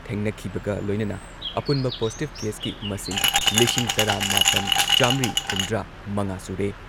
ꯊꯦꯡꯅꯈꯤꯕꯒ ꯂꯣꯏꯅꯅ ꯑꯄꯨꯟꯕ ꯄꯣꯖꯤꯇꯤꯚ ꯀꯦꯁꯀꯤ ꯃꯁꯤꯡ ꯂꯤꯁꯤꯡ ꯇꯔꯥ ꯃꯥꯄꯟ ꯆꯥꯃ꯭ꯔꯤ ꯍꯨꯝꯗ꯭ꯔꯥꯃꯉꯥ ꯁꯨꯔꯦ ꯫